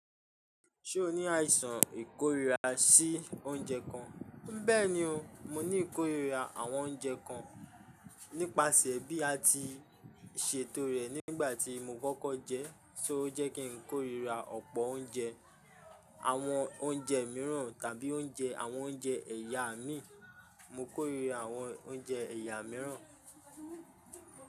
Ṣe o ni aisan ikorira si ounjẹ kan? Bẹẹni o, mo ni ikorira awọn ounjẹ kan nipasẹ bi a ti ṣeto rẹ nigbati mo kọ́kọ́ jẹ, ṣo o jẹ ki n korira ọpọ ounjẹ, awọn ounjẹ miiran tabi ounjẹ awọn ounjẹ ẹya min, mo korira awọn ounjẹ ẹya miiran.